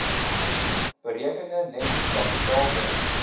berekende netto kapitaalwins